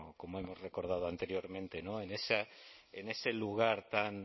como hemos recordado anteriormente en ese lugar tan